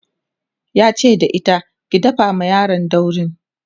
yace da ita "ki dafa ma yaron dauri!"